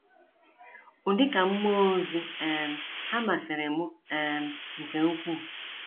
Ụdịka mmụọ ozi um ha masịrị mụ um nke ukwuu.